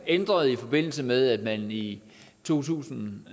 ændret i forbindelse med at man i to tusind